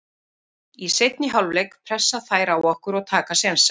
Í seinni hálfleik pressa þær á okkur og taka sénsa.